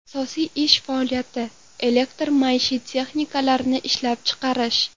Asosiy ish faoliyati elektr-maishiy texnikalarni ishlab chiqarish.